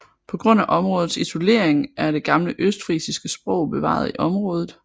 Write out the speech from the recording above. På grund af områdets isolering er det gamle østfrisiske sprog bevaret i området